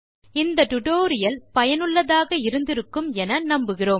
இந்த டுடோரியல் சுவாரசியமாகவும் பயனுள்ளதாகவும் இருந்திருக்கும் என நம்புகிறேன்